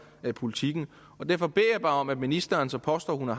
politikken og derfor beder jeg bare om at ministeren som påstår at hun er